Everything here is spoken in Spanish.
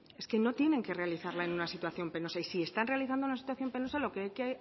es que no tienen que realizarla en una situación penosa y si están realizándola en una situación penosa lo que